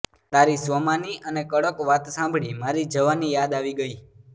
તારી સ્વમાની અને કડક વાત સાંભળી મારી જવાની યાદ આવી ગઈ